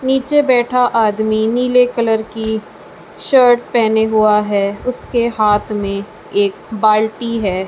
नीचे बैठा आदमी नीले कलर की शर्ट पहने हुआ है उसके हाथ में एक बाल्टी है।